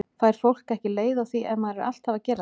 Fær fólk ekki leið á því ef maður er alltaf að gera þetta?